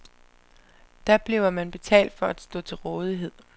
Der bliver man betalt for at stå til rådighed.